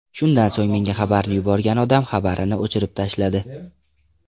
Shundan so‘ng menga xabarni yuborgan odam xabarini o‘chirib tashladi.